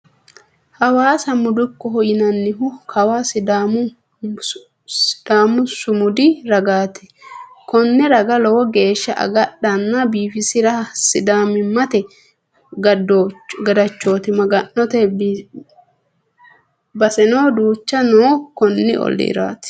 Hawaasa mudukkoho yinannihu kawa sidaamu sumudi ragati kone raga lowo geeshsha agadhana biifisira sidaamimate gadachoti maganote baseno duucha no konni ollira.